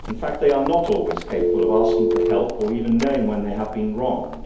They are not always capable of asking for help or even knowing when they have been wronged.